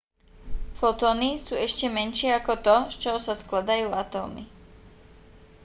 fotóny sú ešte menšie ako to z čoho sa skladajú atómy